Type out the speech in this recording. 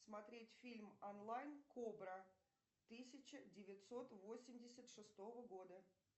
смотреть фильм онлайн кобра тысяча девятьсот восемьдесят шестого года